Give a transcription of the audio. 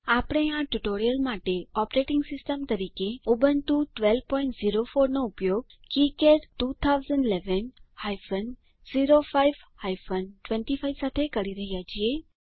આપણે આ ટ્યુટોરીયલ માટે ઓપરેટિંગ સિસ્ટમ તરીકે ઉબુન્ટુ 1204 નો ઉપયોગ કિકાડ 2011 હાયફન 05 હાયફન 25 સાથે કરી રહ્યા છીએ